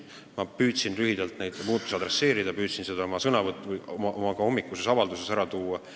Ma püüdsin seda lühidalt ka oma hommikuses avalduses ära tuua.